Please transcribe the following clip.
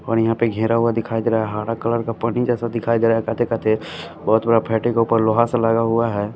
और यहां पे घेरा हुआ दिखाई दे रहा है हरा कलर का पानी जैसे दिखाई दे रह है काटे काटे बहुत बड़ा फैटे का ऊपर लोहा सा लगा हुआ है।